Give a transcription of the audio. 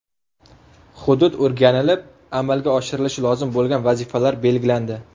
Hudud o‘rganilib, amalga oshirilishi lozim bo‘lgan vazifalar belgilandi.